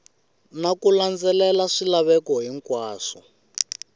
na ku landzelela swilaveko hinkwaswo